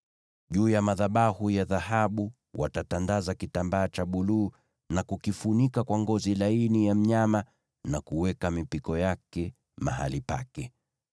“Juu ya madhabahu ya dhahabu watatandaza kitambaa cha buluu na kukifunika kwa ngozi za pomboo na kuweka mipiko yake mahali pake.